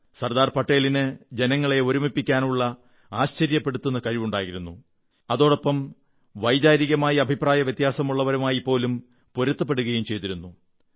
സർദാർപട്ടേലിന് ജനങ്ങളെ ഒരുമിപ്പിക്കാനുള്ള ആശ്ചര്യപ്പെടുത്തുന്ന കഴിവുണ്ടായിരുന്നു അതോടൊപ്പം വൈകാരികമായി അഭിപ്രായവ്യത്യാസമുള്ളവരുമായിപ്പോലും പൊരുത്തപ്പെടുകയും ചെയ്തിരുന്നു